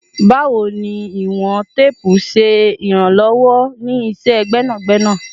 Bawo ni iwọn teepu ṣe iranlọwọ ni iṣẹ gbẹnagbẹna?